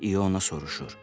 Deyə İona soruşur.